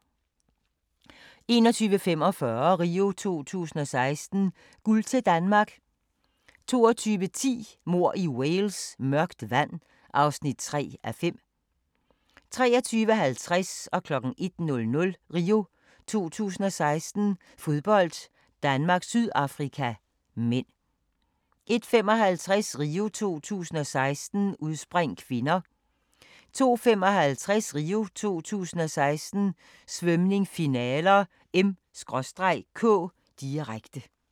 21:45: RIO 2016: Guld til Danmark 22:10: Mord i Wales: Mørkt vand (3:5) 23:50: RIO 2016: Fodbold - Danmark-Sydafrika (m) 01:00: RIO 2016: Fodbold - Danmark-Sydafrika (m) 01:55: RIO 2016: Udspring (k) 02:55: RIO 2016: Svømning, finaler (m/k), direkte